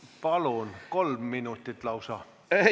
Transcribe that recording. Palun, kolm minutit lausa!